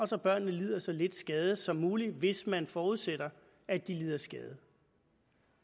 så børnene lider så lidt skade som muligt hvis man forudsætter at de lider skade